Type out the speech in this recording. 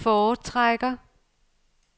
foretrækker